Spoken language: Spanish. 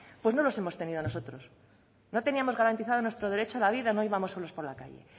pues no los hemos tenido nosotros no teníamos garantizado nuestro derecho a la vida no íbamos solos por la calle